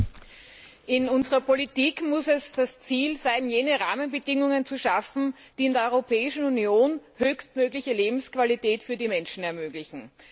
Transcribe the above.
Herr Präsident! In unserer Politik muss es das Ziel sein, jene Rahmenbedingungen zu schaffen, die in der Europäischen Union eine höchstmögliche Lebensqualität für die Menschen ermöglichen.